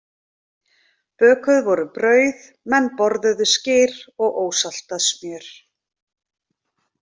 Bökuð voru brauð, menn borðuðu skyr og ósaltað smjör.